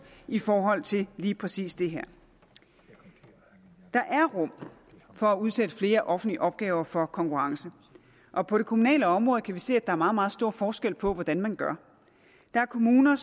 i forhold til lige præcis det her der er rum for at udsætte flere offentlige opgaver for konkurrence og på det kommunale område kan vi se at der er meget meget stor forskel på hvordan man gør der er kommuner